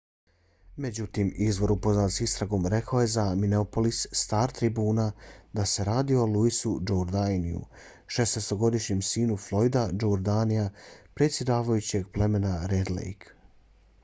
međutim izvor upoznat s istragom rekao je za minneapolis star-tribune da se radi o louisu jourdainu 16-godišnjem sinu floyda jourdaina predsjedavajućeg plemena red lake